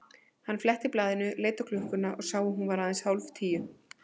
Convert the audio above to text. Hann fletti blaðinu, leit á klukkuna og sá að hún var aðeins hálf tíu.